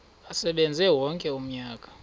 asebenze wonke umnyaka